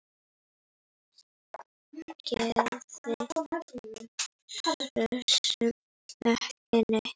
Það skeði sosum ekki neitt.